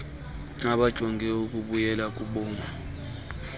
abajonge ukubuyela kubumi